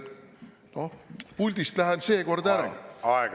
" Noh, puldist lähen seekord ära.